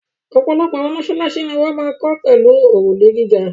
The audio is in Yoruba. Ọ̀pọ̀ àwọn mọ́ṣáláṣí ni wọ́n máa ń kọ́ pẹ̀lú òrùlé gíga.